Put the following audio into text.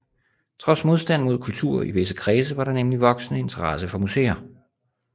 Trods modstand mod kultur i visse kredse var der nemlig voksende interesse for museer